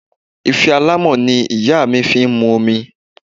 Ife alámọ̀ ni ìyá mi fi mu omi